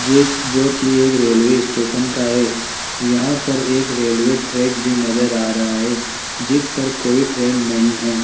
जे जो की एक रेलवे स्टेशन का है यहां पर एक रेलवे ट्रैक भी नजर आ रहा है जिस पर कोई ट्रेन नहीं है।